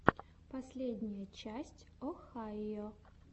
последняя часть охайо